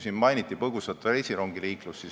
Siin mainiti põgusalt reisirongiliiklust.